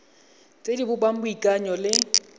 tse di bopang boikanyo le